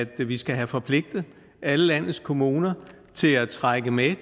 vi skal have forpligtet alle landets kommuner til at trække med